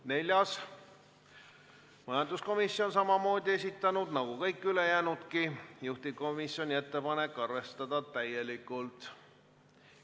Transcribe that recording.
Ka neljanda ettepanku on esitanud majanduskomisjon, nagu kõik ülejäänudki, juhtivkomisjoni ettepanek: arvestada täielikult.